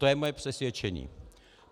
To je moje přesvědčení.